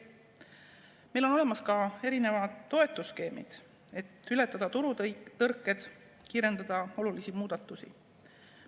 Meil on olemas ka erinevad toetusskeemid, et ületada turutõrked, kiirendada olulisi muudatusi.